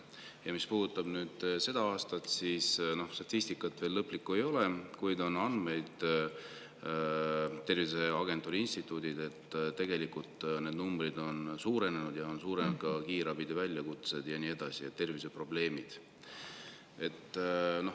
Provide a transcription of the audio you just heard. Ja mis puudutab seda aastat, siis statistikat veel lõplikku ei ole, kuid on andmeid Tervise Arengu Instituudilt, et tegelikult need numbrid on suurenenud ja suurenenud on ka kiirabi väljakutsete arv ja nii edasi, igasugused terviseprobleemid.